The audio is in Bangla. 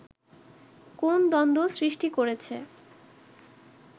কোন দ্বন্দ্ব সৃষ্টি করেছে